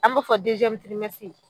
An b'o fɔ